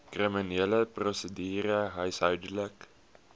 kriminele prosedure huishoudelike